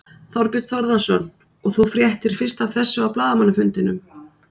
Þorbjörn Þórðarson: Og þú fréttir fyrst af þessu á blaðamannafundinum?